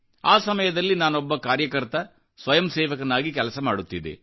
ಆ ಸಮಯದಲ್ಲಿ ನಾನೊಬ್ಬ ಕಾರ್ಯಕರ್ತನಾಗಿ ಸ್ವಯಂಸೇವಕನಾಗಿ ಕೆಲಸ ಮಾಡುತ್ತಿದ್ದೆ